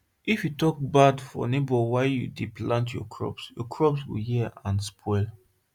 if you talk bad of neighbour while you dey plant your crops your crops go hear and spoil